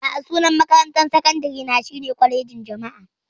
A'a, sunan makarantar sakandare na shine Kwalejin Jama'a.